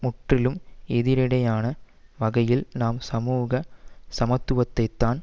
முற்றிலும் எதிரிடையான வகையில் நாம் சமூக சமத்துவத்தைத்தான்